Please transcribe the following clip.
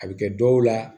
A bɛ kɛ dɔw la